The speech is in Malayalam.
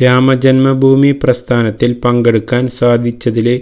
രാമജന്മഭൂമി പ്രസ്ഥാനത്തില് പങ്കെടുക്കാന് സാധിച്ചതില്